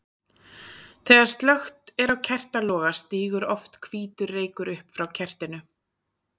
Þegar slökkt er á kertaloga stígur oft hvítur reykur upp frá kertinu.